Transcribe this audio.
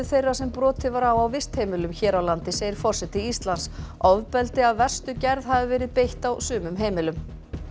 þeirra sem brotið var á á vistheimilum hér á landi segir forseti Íslands ofbeldi af verstu gerð hafi verið beitt á sumum heimilum